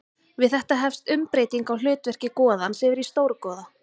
Við þetta hefst umbreyting á hlutverki goðans yfir í stórgoða.